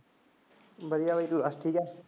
ਵਧੀਆ ਬਾਈ ਤੂੰ ਦੱਸ ਠੀਕ ਐ?